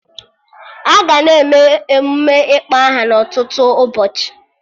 Aga na-eme emụme ịkpọ aha na ọtụtụ ụbọchị